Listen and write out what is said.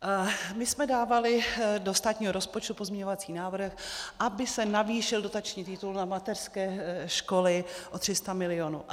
My jsme dávali do státního rozpočtu pozměňovací návrh, aby se navýšil dotační titul na mateřské školy o 300 milionů.